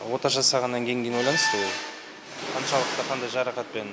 ота жасағаннан кейінге байланысты ол қаншалықты қандай жарақатпен